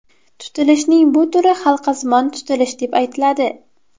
Tutilishning bu turi halqasimon tutilish deb aytiladi.